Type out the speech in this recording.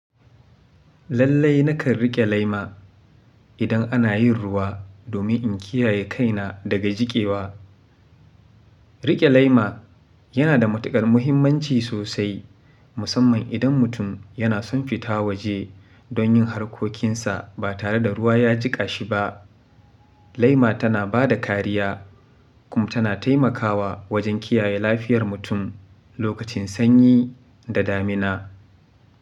Lallai nakan riƙe laima idan ana yin ruwa domin in kiyaye kaina daga jikewa. Riƙe laima yana da matuƙar muhimmanci sosai, musamman idan mutum yana son fita waje don yin harkokinsa ba tare da ruwa ya jiƙa shi ba. Lema tana ba da kariya kuma tana taimakawa wajen kiyaye lafiyar mutum lokacin sanyi da damina.